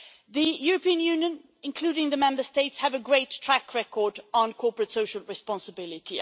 The European Union, including the Member States, have a great track record on corporate social responsibility.